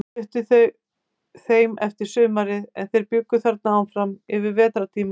Ég flutti heim eftir sumarið, en þeir bjuggu þarna áfram yfir vetrartímann.